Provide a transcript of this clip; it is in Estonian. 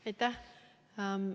Aitäh!